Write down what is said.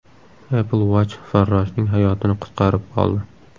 Apple Watch farroshning hayotini qutqarib qoldi.